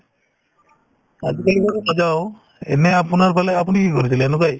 আজিকালি বাৰু নাযাওঁ এনে আপোনাৰফালে আপুনি কি কৰিছিলে এনেকুৱায়ে